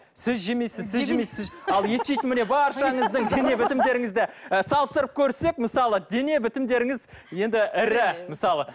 сіз жемейсіз сіз жемейсіз сіз ал ет жейтін міне баршаңыздың дене бітімдеріңізді ы салыстырып көрсек мысалы дене бітімдеріңіз енді ірі мысалы